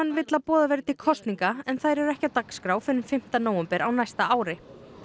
vill að boðað verði til kosninga en þær eru ekki á dagskrá fyrr en fimmta nóvember á næsta ári